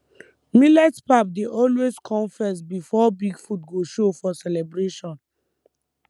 millet pap dey always come first before big food go show for celebration